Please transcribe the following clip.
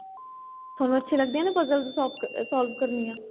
ਤੁਹਾਨੂੰ ਅੱਛੀ ਲੱਗਦੀ ਏ ਨਾ puzzles solve ਕਰਨੀਆਂ